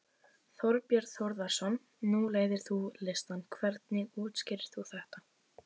Þorbjörn Þórðarson: Nú leiðir þú listann, hvernig útskýrir þú þetta?